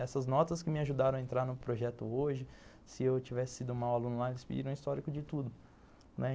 Essas notas que me ajudaram a entrar no projeto hoje, se eu tivesse sido um mau aluno lá, eles pediram um histórico de tudo, né.